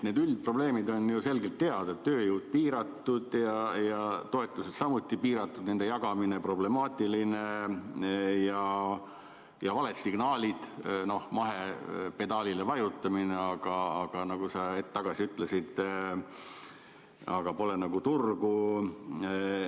Need üldprobleemid on ju selgelt teada: tööjõud on piiratud ja toetused samuti piiratud, nende jagamine on problemaatiline, on valed signaalid, näiteks mahepedaalile vajutamine, aga nagu sa hetk tagasi ütlesid, sel toodangul pole nagu turgu.